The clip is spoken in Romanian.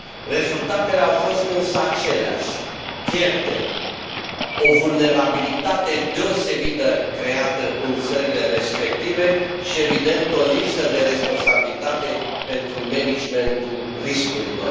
Rezultatele au fost însă aceleași pierderi, o vulnerabilitate deosebită creată în țările respective și, evident, o lipsă de responsabilitate pentru managementul riscurilor.